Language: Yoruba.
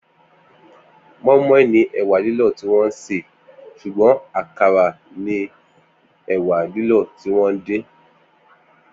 Moi moi ni ẹ̀wá lìlọ tiwọn sé ṣúgbọ̀n àkárá ni ẹ̀wá lìlọ tiwọn din